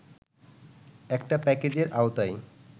একটা প্যাকেজের আওতায়